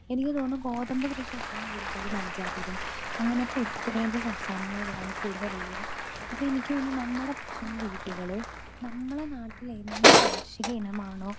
speaker 2 എനിക്ക് തോന്നുന്നത് ഗോതമ്പ് കൃഷി ഏറ്റവും കൂടുതൽ പഞ്ചാബിലും അങ്ങനത്തെ ഉത്തരേന്ത്യൻ സംസ്ഥാനങ്ങളിലാണ് കൂടുതൽ ഉള്ളത് അത് എനിക്ക് തോന്നുന്നത് നമ്മടെ ഭക്ഷണ രീതികള് നമ്മടെ നാട്ടില് എന്ത് കാർഷിക ഇനമാണോ